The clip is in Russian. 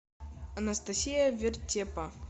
анастасия вертепа